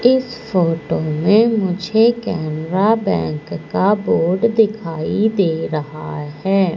इस फोटो में मुझे केनरा बैंक का बोर्ड दिखाई दे रहा है।